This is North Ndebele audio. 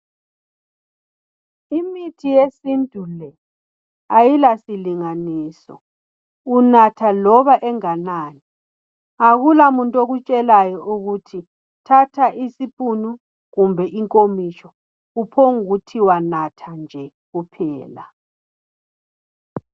Imithi yesintu le ayilasilinganiso unatha loba enganani, akulamuntu okutshelayo ukuthi thatha isipunu kumbe inkomitsho kuphongukuthiwa natha nje kuphela.